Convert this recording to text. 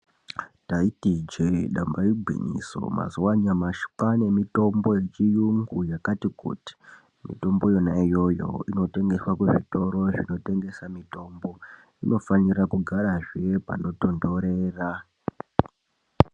Taiti ijee ndamba igwinyiso, mazuwa anyamashi pavane mitombo yechiyungu yakati kuti, mitombo yona iyoyo inotengeswa kunazvitoro inotengeswa mitombo, inofanikahe kugarazve panotonhorera.